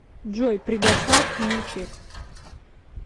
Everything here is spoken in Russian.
джой предостав мне чек